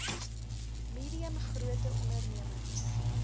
medium grote ondememings